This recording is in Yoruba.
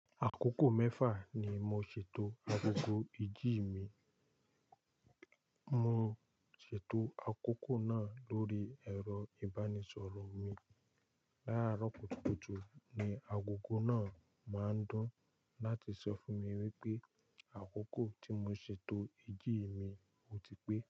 Àkókò mẹ́fà ni mo ṣètò agogo ìjí mi. Mo ṣètò àkókò náà lórí ẹ̀rọ ìbánisọ̀rọ̀ mi. Láro kutukutu ni agogo náà máa ń dún láti sọ fún mi wípé àkókò tí mo ṣètò ìjí mi ò ti pé.